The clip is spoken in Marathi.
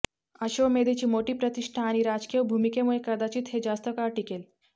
अश्वमेधेची मोठी प्रतिष्ठा आणि राजकीय भूमिकेमुळे कदाचित हे जास्त काळ टिकले